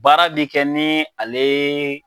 Baara bi kɛ ni ale